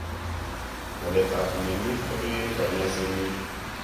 Walet ap mnyonit kopee kanyaiset nyi.